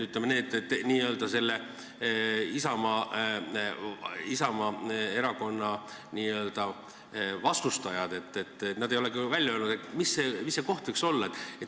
Ütleme nii, et n-ö Isamaa erakonna ettepaneku vastustajad ei ole küll öelnud, mis see õige koht võiks olla.